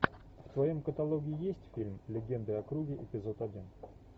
в твоем каталоге есть фильм легенды о круге эпизод один